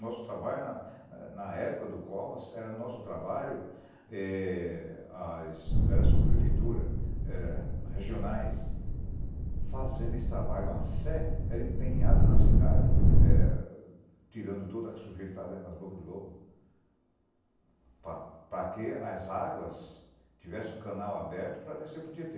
Nosso trabalho, na na época do Covas, era nosso trabalho, eh as, não era subprefeitura, era regionais, fazendo esse trabalho a sé, era empenhado na cidade, eh tirando tudo o que sujeira que estava dentro das bocas de lobo, para para que as águas tivessem o canal aberto para descer para o Tietê.